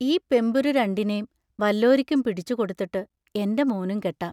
ഈ പെമ്പുരു രണ്ടിനേം വല്ലോരിക്കും പിടിച്ചുകൊടുത്തിട്ട് എന്റെ മോനും കെട്ടാം.